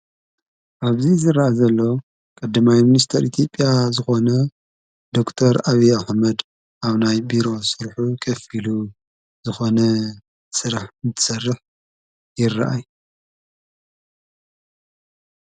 ኣብዙይ ዝረአዘሎ ቀድማይ ሚኒስቴር ኢትዮጵያ ዝኾነ ዶክር አብይ ኣኅመድ ኣብ ናይ ቢሮ ስርሕ ኸፊሉ ዝኾነ ሥራሕ ምሠርሕ ይረአይ::